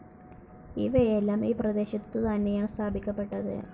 ഇവയെല്ലാം ഈ പ്രദേശത്തു തന്നെയാണ് സ്ഥാപിക്കപ്പെട്ടത്.